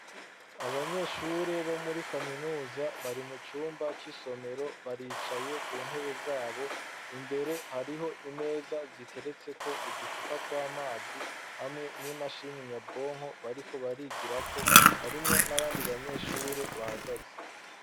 Abanyeshure bo muri kaminuza bari mu cumba c'isomero baricaye ku ntebe zabo imbere hariho imeza ziteretse ko uducupa tw'amazi hamwe n'imashini nyabwonko bariko barigirako harimwo n'abandi banyeshure bahagaze.